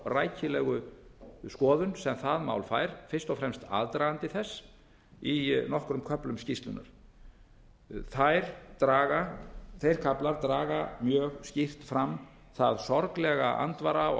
rækilegu skoðun sem það mál fær fyrst og fremst aðdragandi þess í nokkrum köflum skýrslunnar þeir kaflar draga mjög skýrt fram það sorglega andvara og